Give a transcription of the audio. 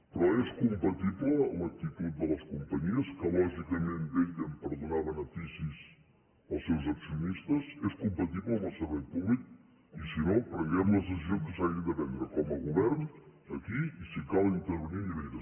però és compatible l’actitud de les companyies que lògicament vetllen per donar beneficis als seus accionistes és compatible amb el servei públic i si no prenguem les decisions que s’hagin de prendre com a govern aquí i si cal intervenir a nivell d’estat